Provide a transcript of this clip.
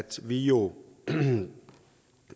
vi jo